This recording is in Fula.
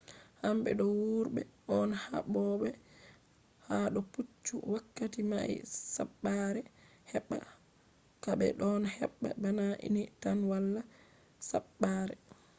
hamɓe do wurɓe on haɓoɓe ha do puccu wakkati mai saɓɓare heɓɓa ka be ɗon haɓɓa bana ni tan wala saɓɓare